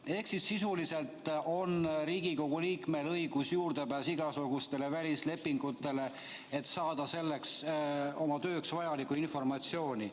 Seega, sisuliselt on Riigikogu liikmel juurdepääsuõigus igasugustele välislepingutele, et saada oma tööks vajalikku informatsiooni.